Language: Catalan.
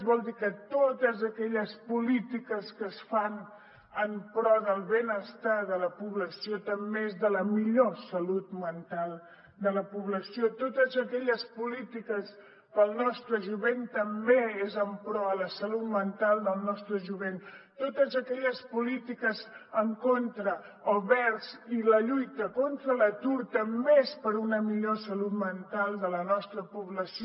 vol dir que totes aquelles polítiques que es fan en pro del benestar de la població també són en pro de la millor salut mental de la població totes aquelles polítiques per al nostre jovent també són en pro de la salut mental del nostre jovent totes aquelles polítiques en contra o vers i la lluita contra l’atur també són per a una millor salut mental de la nostra població